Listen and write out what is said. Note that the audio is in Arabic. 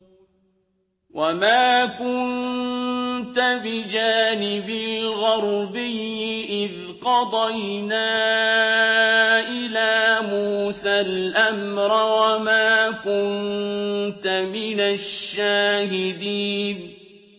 وَمَا كُنتَ بِجَانِبِ الْغَرْبِيِّ إِذْ قَضَيْنَا إِلَىٰ مُوسَى الْأَمْرَ وَمَا كُنتَ مِنَ الشَّاهِدِينَ